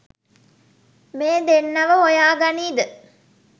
මේ දෙන්නව හොයා ගනීද?